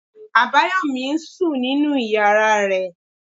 Abayomi ń sùn nínú ìyára rẹ̀.